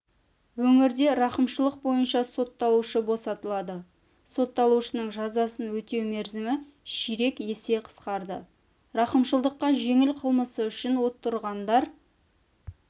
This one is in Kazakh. өңірде рақымшылық бойынша сотталушы босатылады сотталушының жазасын өтеу мерзімі ширек есе қысқарды рақымшылыққа жеңіл қылмысы үшін отырғандар